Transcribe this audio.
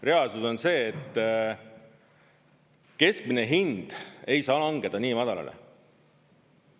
Reaalsus on see, et keskmine hind ei saa langeda nii madalale.